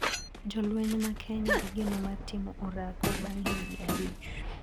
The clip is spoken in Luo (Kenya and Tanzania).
Jolweny ma kenya igeno mar timo orako bang` higni abich.